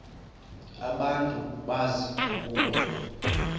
abantu bazi ukuba